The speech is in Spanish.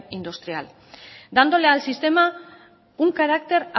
industrial dándole al sistema un carácter